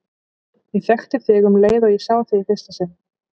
Ég þekkti þig um leið og ég sá þig í fyrsta sinn.